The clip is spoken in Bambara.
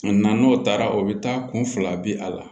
n'o taara o bɛ taa kun fila bi a la